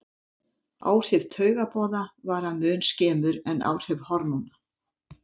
Áhrif taugaboða vara mun skemur en áhrif hormóna.